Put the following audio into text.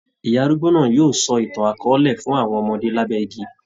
Ìyá arúgbó náà yóò sọ ìtàn akọọ́lẹ̀ fún àwọn ọmọdé lábẹ́ igi.